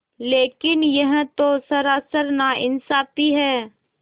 लेकिन यह तो सरासर नाइंसाफ़ी है